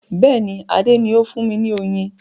Bẹ́ẹ̀ni, Adé ni o fún mi ní oyún.